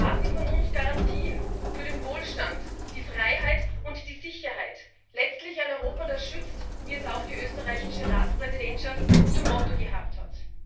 Sie erwarten von uns Garantien für den Wohlstand, die Freiheit und die Sicherheit letztlich ein Europa, das schützt, wie es auch die österreichische Ratspräsidentschaft zum Motto gehabt hat.